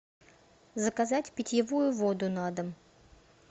заказать питьевую воду на дом